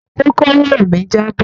Kókóró mi jabọ.